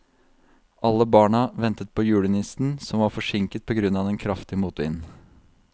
Alle barna ventet på julenissen, som var forsinket på grunn av den kraftige motvinden.